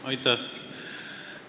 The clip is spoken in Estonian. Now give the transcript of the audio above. Aitäh!